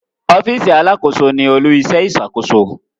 Ọfiisi Alàkóso ní olu-iṣẹ iṣakoso